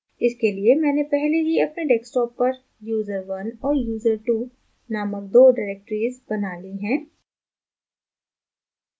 इसके लिए मैंने पहले ही अपने desktop पर user1 और user2 named दो डिरेक्टरीज़ बना ली हैं